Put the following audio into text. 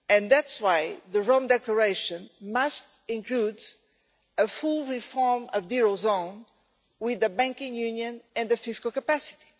That is why the Rome Declaration must include a full reform of the eurozone with the banking union and the fiscal capacity.